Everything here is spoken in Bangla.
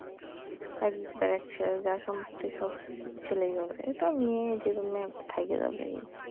এক বাপের এক ছেলে যা সম্পত্তি সব ছেলেই পাবে এতো মেয়ে যে কোন মেয়ে থাইকা যাবেই